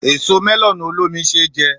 Èso mẹ́lọ̀nù olómi ṣé jẹ.